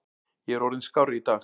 Ég er orðinn skárri í dag.